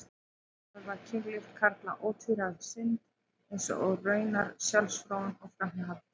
Samt sem áður var kynlíf karla ótvíræð synd, eins og raunar sjálfsfróun og framhjáhald.